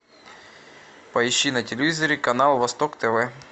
поищи на телевизоре канал восток тв